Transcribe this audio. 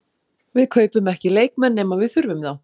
Við kaupum ekki leikmenn nema við þurfum þá.